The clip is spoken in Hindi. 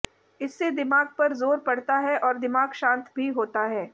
इससे दिमाग पर जोर पड़ता है और दिमाग शांत भी होता है